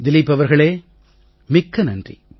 திலீப் அவர்களே மிக்க நன்றி